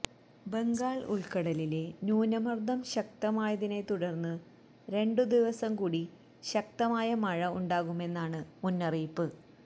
ബംഗാൾ ഉൾക്കടലിലെ ന്യൂനമർദ്ദം ശക്തമായതിനെ തുടർന്ന് രണ്ടു ദിവസം കൂടി ശക്തമായ മഴ ഉണ്ടാകുമെന്നാണ് മുന്നറിയിപ്പ്